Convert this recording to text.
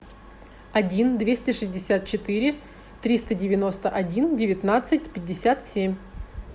один двести шестьдесят четыре триста девяносто один девятнадцать пятьдесят семь